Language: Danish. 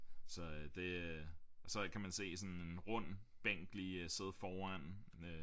Så øh det øh og så kan man se sådan en rund bænk sidde foran